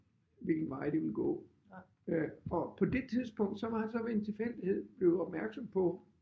Hvilken vej det ville gå øh og på det tidspunkt så var han så ved en tilfældighed jo opmærksom på